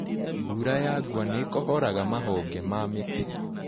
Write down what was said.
Mbura ya ngwa nĩikohoraga mahonge ma mĩtĩ.